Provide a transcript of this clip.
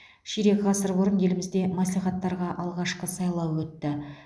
ширек ғасыр бұрын елімізде мәслихаттарға алғашқы сайлау өтті